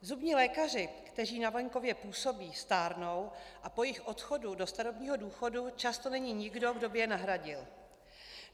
Zubní lékaři, kteří na venkově působí, stárnou a po jejich odchodu do starobního důchodu často není nikdo, kdo by je nahradil.